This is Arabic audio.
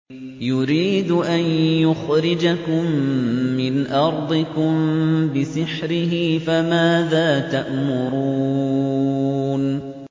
يُرِيدُ أَن يُخْرِجَكُم مِّنْ أَرْضِكُم بِسِحْرِهِ فَمَاذَا تَأْمُرُونَ